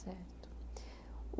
Certo. O